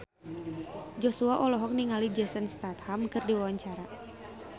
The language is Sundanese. Joshua olohok ningali Jason Statham keur diwawancara